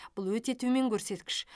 бұл өте төмен көрсеткіш